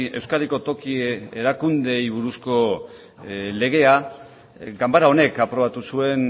euskadiko toki erakundeei buruzko legea ganbara honek aprobatu zuen